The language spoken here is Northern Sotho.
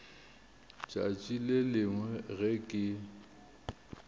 tšatši le lengwe ge ke